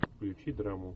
включи драму